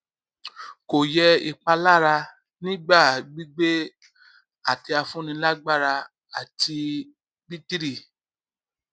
kò yẹ ìpalára nígbà gbígbé àtẹafúnilágbára àti bítìrì